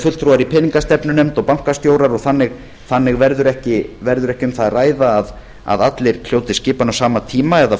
fulltrúar í peningastefnunefnd og bankastjórar og þannig verður ekki um það að ræða að allir hljóti skipan á sama tíma eða